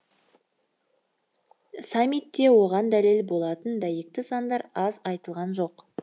саммитте оған дәлел болатын дәйекті сандар аз айтылған жоқ